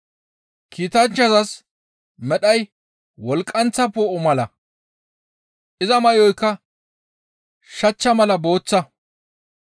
Kiitanchchazas medhay wolqqanththa poo7o mala; iza may7oyka shachcha mala booththa.